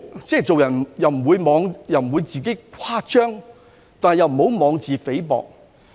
做人不要誇張，但也不用妄自菲薄。